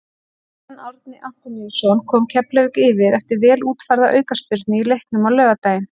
Guðjón Árni Antoníusson kom Keflavík yfir eftir vel útfærða aukaspyrnu í leiknum á laugardaginn.